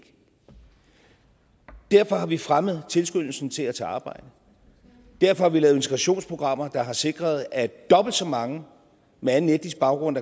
derfor har vi fremmet tilskyndelsen til at tage arbejde derfor har vi lavet integrationsprogrammer der har sikret at dobbelt så mange med anden etnisk baggrund